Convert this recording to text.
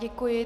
Děkuji.